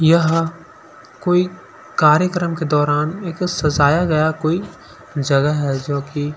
यह कोई कार्यक्रम के दौरान एक सजाया गया कोई जगह है जो की--